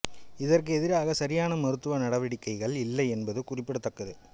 இதற்கு எதிராக சரியான மருத்துவ நடவடிக்கைகள் இல்லை என்பது குறிப்பிடத்தக்கது